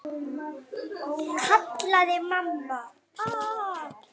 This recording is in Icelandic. kallaði mamma.